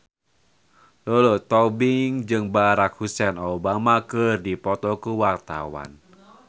Lulu Tobing jeung Barack Hussein Obama keur dipoto ku wartawan